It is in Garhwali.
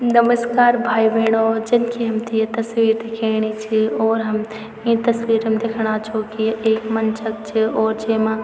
नमश्कार भाई-भेणाे जन की हमथे ये तस्वीर दिखेणी च और हम ई तस्वीर मा दिखणा छौं की ये एक मंच क च और जेमा --